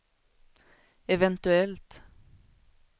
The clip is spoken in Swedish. eventuellt